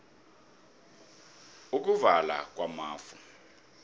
ukuvala kwamafu